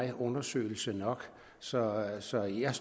er undersøgelse nok så så jeg